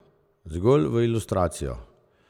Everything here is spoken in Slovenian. Zgolj v ilustracijo.